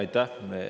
Aitäh!